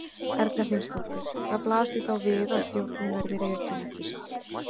Erla Hlynsdóttir: Það blasir þá við að stjórnin verði rekin, ekki satt?